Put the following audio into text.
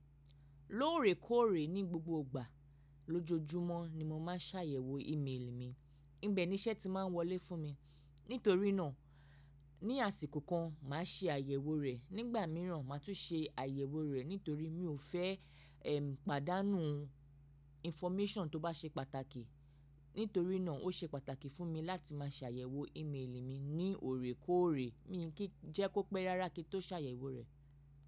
Lóòrèkóòrè ní gbogbo igbà lójoojúmọ́ ni mo máa ń ṣàyẹ̀wò ímeèlì mi, níbẹ̀ ni iṣẹ́ ti máa ń wọlé fún mi. Nítorí náà ní àsìkò kan mà á ṣè àyẹ̀wò rẹ̀, nígbà míràn mà á tún ṣè àyẹ̀wò rẹ̀ nítorí mi ò fẹ́ pàdánù infọ́mẹ́ṣàn tó bá ṣe pàtàkì. Nítorí náà ó ṣe pàtàkì fún mi láti máa ṣàyẹ̀wò ímeèlì mi ní òrèkóòrè mi kí jẹ́ kó pẹ́ rárá kí tó ṣàyẹ̀wò rẹ̀.